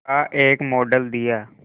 का एक मॉडल दिया